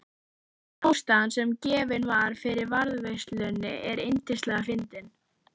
En ástæðan sem gefin var fyrir varðveislunni er yndislega fyndin